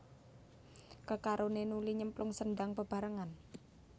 Kekaroné nuli nyemplung sendhang bebarengan